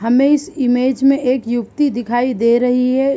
हमें इस इमेज में एक युवती दिखाई दे रही है।